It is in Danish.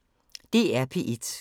DR P1